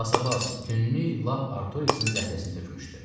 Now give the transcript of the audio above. Basabas, tünlük lap Artoriksin zəhləsini tökmüşdü.